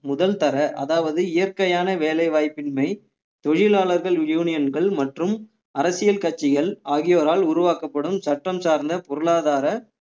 முதல்தர அதாவது இயற்கையான வேலை வாய்ப்பின்மை தொழிலாளர்கள் யூனியன்கள் மற்றும் அரசியல் கட்சிகள் ஆகியோரால் உருவாக்கப்படும் சட்டம் சார்ந்த பொருளாதார